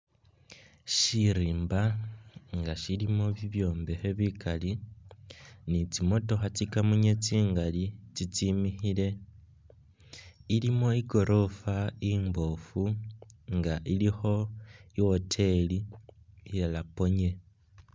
Siriimba nga silimo bibyombekhe bikaali ni tsimotokha tsi kamunye tsingaali itsimikhile. Ilimo i'goroofa imboofu nga ilikho i'woteeli iya Aponye.